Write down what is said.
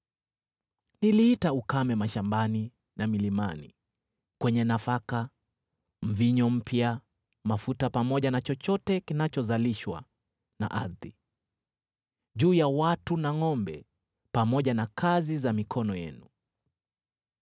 Niliita ukame mashambani na milimani, kwenye nafaka, mvinyo mpya, mafuta pamoja na chochote kinachozalishwa na ardhi, juu ya watu na ngʼombe, pamoja na kazi za mikono yenu.”